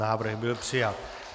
Návrh byl přijat.